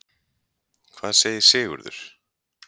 Hvað segir Sigurður?